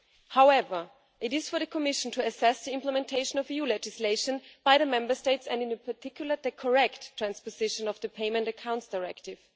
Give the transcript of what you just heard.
However, it is for the Commission to assess the implementation of EU legislation by the Member States and in particular the correct transposition of the Payment Accounts Directive.